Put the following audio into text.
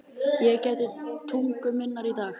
Ég gæti tungu minnar í dag.